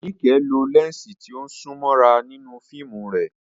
Nike lo lẹ́ńsì tí ó sún mọ́ra nínú fíìmù rẹ̀.